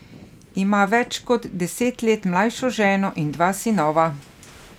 Ima več kot deset let mlajšo ženo in dva sinova.